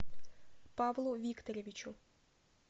павлу викторовичу